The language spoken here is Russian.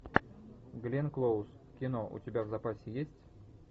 гленн клоуз кино у тебя в запасе есть